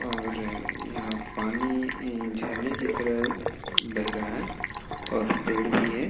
और यहाँ पानी इ झरने की तरह बेह रहा है और पेड़ भी है |